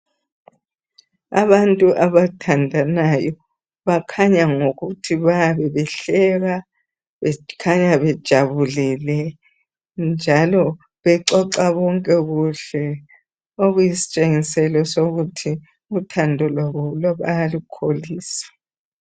Abantu abathandanayo bakhanya ngokuthi bayabe behleka bekhanya bejabulile njalo bexoxa bonke kuhle okuyisitshengiselo sokuthi uthando lwabo bayalukholisa